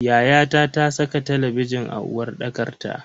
Yayata ta saka talabijin a uwarɗakar ta.